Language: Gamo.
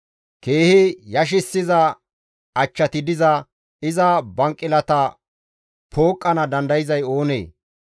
Keehi yashissiza achchati diza iza banqilata pooqqana dandayzay oonee?